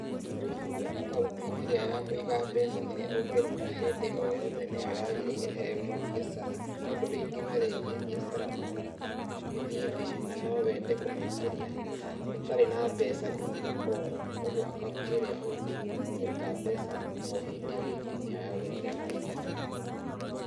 Ngwĩciria account ĩrĩa ya kũiga mbeca ĩrĩa ũngeruta hĩndĩ oyothe nĩyoo yagĩrĩire he mũbiacara tondũ rĩngĩ na rĩngĩ biacara noĩthii thĩĩ, na nowende kũmĩũkĩrĩa na otarĩ na mbeca ndũkĩnga ũguo, kũoguo account ĩrĩa ũngĩruta mbeca ohĩndĩ ohĩndĩ nĩyo yagĩrĩrwo mũbiacara.